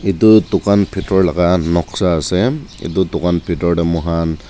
etu tucan bitor laka noksa ase etu tucan bitor dae mo kan.